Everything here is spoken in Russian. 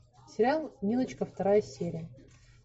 сериал милочка вторая серия